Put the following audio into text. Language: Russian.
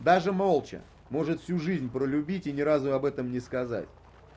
даже молча может всю жизнь про любить и ни разу об этом не сказать